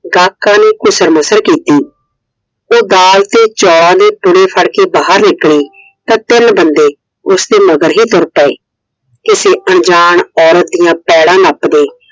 ਗਾਹਕਾਂ ਨੇ ਘੁਸਰਮੁਸਰ ਕੀਤੀ। ਉਹ ਦਾਲ ਤੇ ਚੋਲ ਫੜ ਕੇ ਬਾਹਰ ਨਿਕਲੀ। ਤਾਂ ਤਿੰਨ ਬੰਦੇ ਉਸਦੇ ਮਗਰ ਹੀ ਤੁਰ ਪਏ। ਕਿਸੇ ਅਣਜਾਣ ਔਰਤ ਦੀਆ ਪੈੜਾਂ ਨੱਪਦੇ।